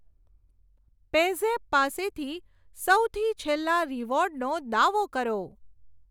PayZapp પાસેથી સૌથી છેલ્લા રીવોર્ડનો દાવો કરો.